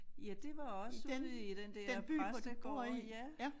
Ja det var også ude i den der præstegård ja